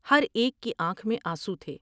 ہر ایک کی آنکھ میں آنسو تھے ۔